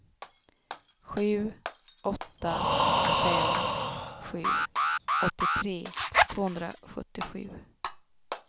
sju åtta fem sju åttiotre tvåhundrasjuttiosju